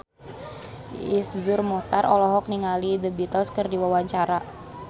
Iszur Muchtar olohok ningali The Beatles keur diwawancara